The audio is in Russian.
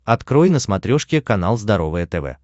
открой на смотрешке канал здоровое тв